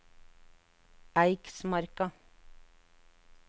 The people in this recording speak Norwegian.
Eiksmarka